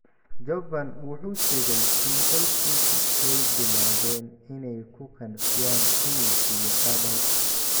Jovan wuxuu sheegay in qoyskiisu ay bilaabeen inay ku qanciyaan inuu siiyo Adam.